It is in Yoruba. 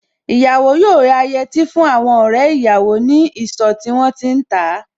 Ìyàwó yóò rà yẹtí fún àwọn ọ̀rẹ́ ìyàwó ní ìsọ̀ tí wón ti ń tà á.